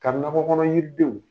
Ka nakɔkɔnɔ yiridenw